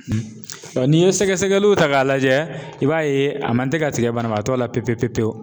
n'i ye sɛgɛsɛgɛliw ta k'a lajɛ i b'a ye a man tɛ ka tigɛ banabaatɔ la pewu pewu pewu